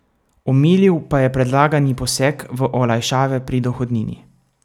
Omilil pa je predlagani poseg v olajšave pri dohodnini.